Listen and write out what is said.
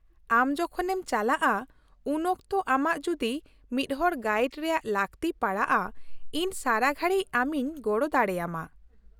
-ᱟᱢ ᱡᱚᱠᱷᱚᱱᱮᱢ ᱪᱟᱞᱟᱜᱼᱟ ᱩᱱᱚᱠᱛᱚ ᱟᱢᱟᱜ ᱡᱩᱫᱤ ᱢᱤᱫᱦᱚᱲ ᱜᱟᱭᱤᱰ ᱨᱮᱭᱟᱜ ᱞᱟᱹᱠᱛᱤ ᱯᱟᱲᱟᱜᱼᱟ, ᱤᱧ ᱥᱟᱨᱟ ᱜᱷᱟᱲᱤᱡ ᱟᱢᱤᱧ ᱜᱚᱲᱚ ᱫᱟᱲᱮᱭᱟᱢᱟ ᱾